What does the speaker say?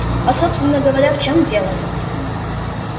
а собственно говоря в чём дело